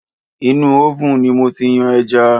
Inú oven ni mo ti yan ẹja